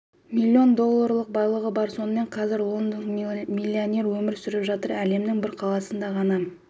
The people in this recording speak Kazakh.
миллион долларлық байлығы бар сонымен қазір лондонда миллионер өмір сүріп жатыр әлемнің бір қаласында ғана